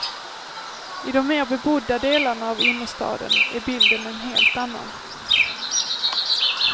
I de mer bebodda delarna av innerstaden är bilden en helt annan.